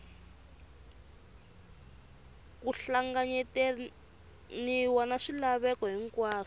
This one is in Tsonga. ku hlanganyetaniwe na swilaveko hinkwaswo